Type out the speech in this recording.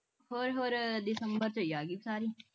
ਹੋਰ ਹੋਰ ਦਸੰਬਰ ਵਿਚ ਆ ਗਈ ਸਾਰੀ